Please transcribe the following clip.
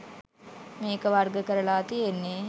මේක වර්ග කරලා තියෙන්නේ